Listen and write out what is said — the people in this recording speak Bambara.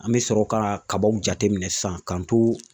An bɛ sɔrɔ ka kabaw jateminɛ sisan k'an to